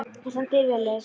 Þú stendur þig vel, Leif!